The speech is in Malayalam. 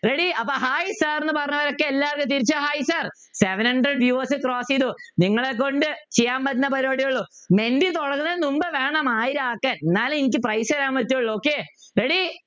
ready അപ്പ high sir എന്ന് പറഞ്ഞവരൊക്കെ എല്ലാവരും തിരിച്ചു high sir seven hundred views cross ചെയ്തു നിങ്ങളെക്കൊണ്ട് ചെയ്യാൻ പറ്റുന്ന പരിപാടികളും തുടങ്ങുന്നതിന് മുമ്പ് വേണം ആയിരമാക്കാൻ ഇന്നലെ എനിക്ക് prize തരാൻ പറ്റുള്ളൂ okay